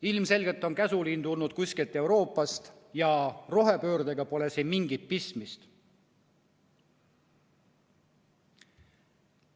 Ilmselgelt on käsuliin tulnud kuskilt Euroopast ja rohepöördega pole siin mingit pistmist.